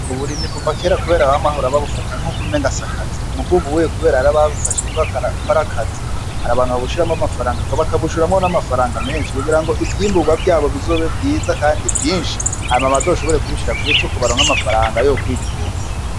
Uburimyi kuva kera, kubera aba mahoro babufata nk'o kumengasiakazi mugwubuwe, kubera arababufashe k kwarakazi hari abantu babushiramwo amafarangak bakabushuramwo n'amafaranga menshi kugira ngo ivyimburwa vyabo bizobe vyiza, kandi vyinshi hama bazoshobore kubishira kw'esoko baronga amafaranga yo kwitumba.